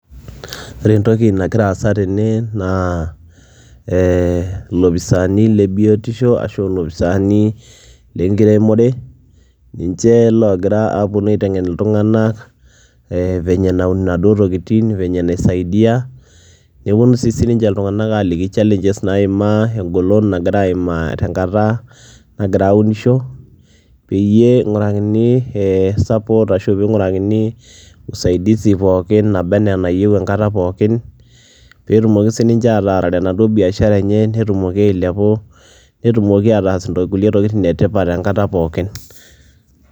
Ore entoki nagira aasa tene naa ee iloposani lebiotisho ashu lopisani lenkiremore, ninche ogira aponu aitengen ltunganak e vennye naun naduo tokitin, venye naisaidia, neponu si ltunganak aliki challenges naimaa ,engolon nagira aimaa tenkata nagira aunisho peyie ingurakini support pookin nabaa anaa enayieu enkata pookin petumoki sinche ataarare enaduo biashara enye netumoki ailepu netumoki ataas nkulie tokitin etipat enkata poookin.